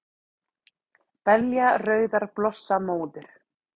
Belja rauðar blossa móður,